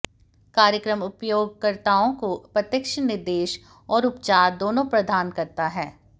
कार्यक्रम उपयोगकर्ताओं को प्रत्यक्ष निर्देश और उपचार दोनों प्रदान करता है